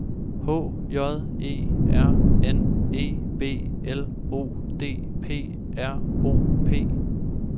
H J E R N E B L O D P R O P